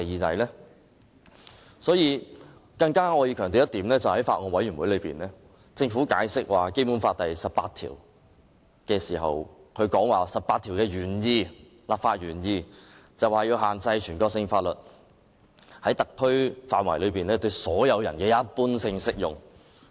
我想強調，政府向法案委員會解釋《基本法》第十八條時表示，這項條文的立法原意是要限制全國性法律在特區範圍內對所有人的一般性適用。